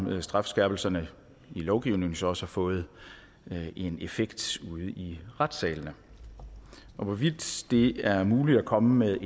strafskærpelserne i lovgivningen så også har fået en effekt ude i retssalene hvorvidt det er muligt at komme med